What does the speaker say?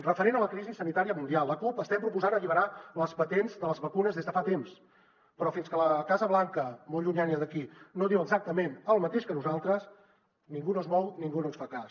referent a la crisi sanitària mundial la cup estem proposant alliberar les patents de les vacunes des de fa temps però fins que la casa blanca molt llunyana d’aquí no diu exactament el mateix que nosaltres ningú no es mou ningú no ens fa cas